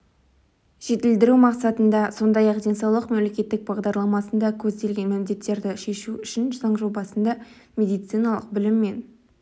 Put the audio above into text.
жетілдіру мақсатында сондай-ақ денсаулық мемлекеттік бағдарламасында көзделген міндеттерді шешу үшін заң жобасында медициналық білім мен